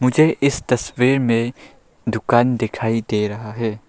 मुझे इस तस्वीर में दुकान दिखाई दे रहा है।